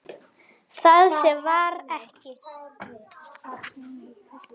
Það sem var er ekki.